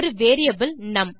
ஒரு வேரியபிள் நும்